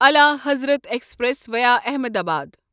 الا Hazrat express via Ahmedabad